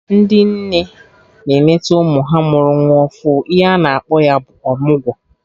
Ndị nne na-enete ụmụ ha mụrụ nwa ọfụ, ihe ana akpọ ya bụ ọmụgwọ